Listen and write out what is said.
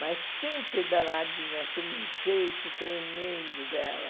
Mas sempre danadinha, aquele jeito tremendo dela.